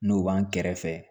N'o b'an kɛrɛfɛ